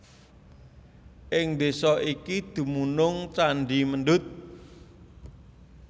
Ing desa iki dumunung candhi Mendut